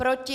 Proti?